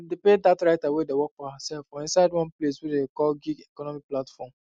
dem dey pay dat writer wey dey work for hersef for inside one place dem dey call gig economy platform